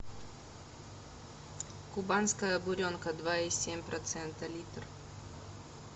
кубанская буренка два и семь процента литр